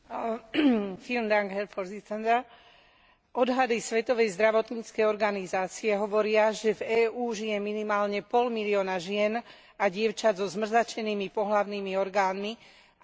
Odhady Svetovej zdravotníckej organizácie hovoria, že v EÚ žije minimálne pol milióna žien a dievčat so zmrzačenými pohlavnými orgánmi a ďalších 180 tisíc dievčat je ohrozených.